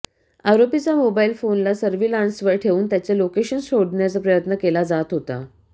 आरोपीचा मोबाईल फोनला सर्विलान्सवर ठेवून त्याचे लोकेशन शोधण्याचा प्रयत्न केला जात होता